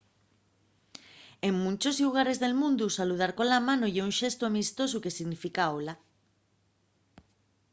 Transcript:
en munchos llugares del mundu saludar cola mano ye un xestu amistosu que significa hola